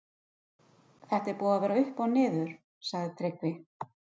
Þetta er búið að vera upp og niður, sagði Tryggvi.